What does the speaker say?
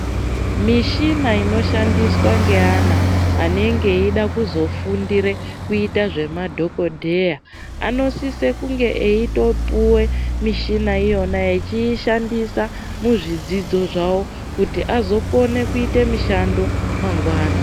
Mishina inoshandiswa ngeana anenge eida kuzofundire kuita zvemadhokodheya anosise kunga eitopuwe mishina iyonayo echiishandisa muzvidzidzo zvavo kuti azokone kuite mishando mangwana.